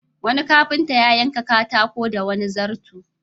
Wani kafinta ya yanka katako da wani zarto.